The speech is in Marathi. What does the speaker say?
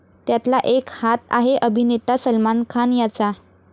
त्यातला एक हात आहे अभिनेता सलमान खान याचा.